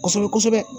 Kosɛbɛ kosɛbɛ